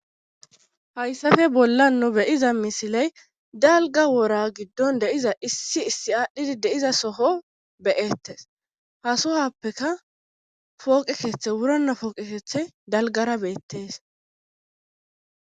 Hayssafe bolla nu beyiza misiley dalga wora giddon deiza issi issi aadhdhidi deiza soho beyettes hasohappeka pooqekeeththe wurona pooqe keethe dalgara beettees.